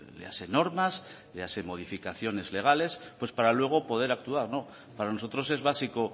léase normas léase modificaciones legales para luego poder actuar no para nosotros es básico